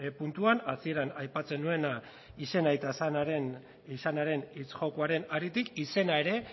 puntuan hasieran aipatzen nuena izena eta izanaren hitz jokoaren haritik izena ere